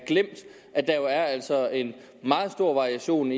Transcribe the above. glemt at der altså er en meget stor variation